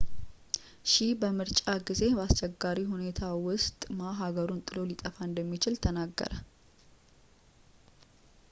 ሺህ በምርጫ ጊዜ በአስቸጋሪ ሁኔታ ውስጥ ማ ሀገሩን ጥሎ ሊጠፋ እንደሚችል ተናገረ